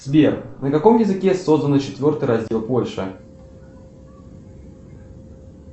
сбер на каком языке создан четвертый раздел польши